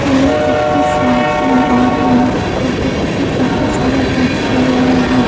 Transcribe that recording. ये एक शॉप है और यहाँ पे छोटे छोटे कपड़े सारे लटके हुए है।